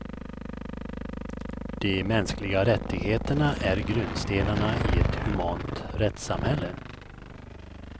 De mänskliga rättigheterna är grundstenarna i ett humant rättssamhälle.